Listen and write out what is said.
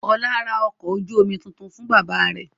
Ọlá ra ọkọ̀ ojú-omi tuntun fún bàbá rẹ̀.